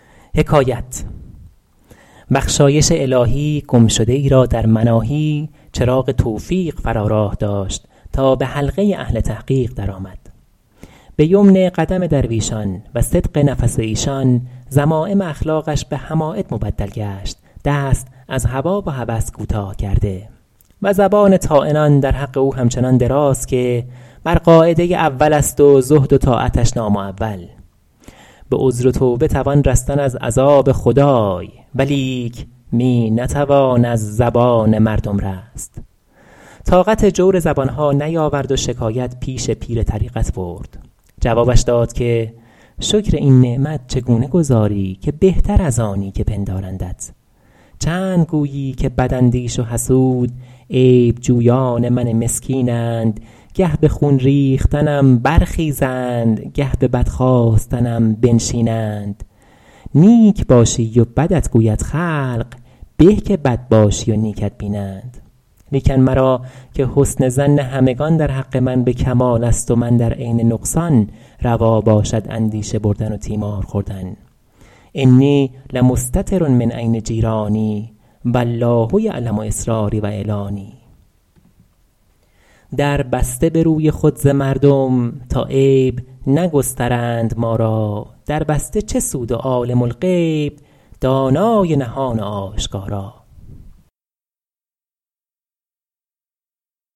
بخشایش الهی گم شده ای را در مناهی چراغ توفیق فرا راه داشت تا به حلقه اهل تحقیق در آمد به یمن قدم درویشان و صدق نفس ایشان ذمایم اخلاقش به حماید مبدل گشت دست از هوا و هوس کوتاه کرده و زبان طاعنان در حق او همچنان دراز که بر قاعده اول است و زهد و طاعتش نامعول به عذر و توبه توان رستن از عذاب خدای ولیک می نتوان از زبان مردم رست طاقت جور زبان ها نیاورد و شکایت پیش پیر طریقت برد جوابش داد که شکر این نعمت چگونه گزاری که بهتر از آنی که پندارندت چند گویی که بد اندیش و حسود عیب جویان من مسکینند گه به خون ریختنم برخیزند گه به بد خواستنم بنشینند نیک باشی و بدت گوید خلق به که بد باشی و نیکت بینند لیکن مرا -که حسن ظن همگنان در حق من به کمال است و من در عین نقصان روا باشد اندیشه بردن و تیمار خوردن انی لمستتر من عین جیرانی و الله یعلم أسراري و أعلاني در بسته به روی خود ز مردم تا عیب نگسترند ما را در بسته چه سود و عالم الغیب دانای نهان و آشکارا